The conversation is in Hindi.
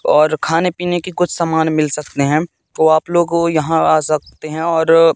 और खाने पीने की कुछ सामान मिल सकते हैं तो आप लोगों को यहां आ सकते हैं और--